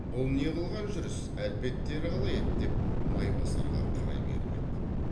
бұл не қылған жүріс әлпеттері қалай еді деп майбасарға қарай беріп еді